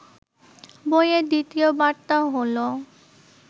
বইয়ের দ্বিতীয় বার্তা হলো